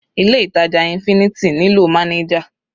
Ilé ìtàjà infinity nílò manager.